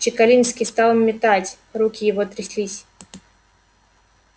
чекалинский стал метать руки его тряслись